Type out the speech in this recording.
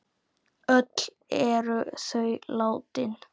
Öll eru þau látin.